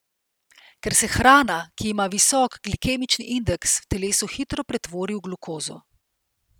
Ker se hrana, ki ima visok glikemični indeks, v telesu hitro pretvori v glukozo.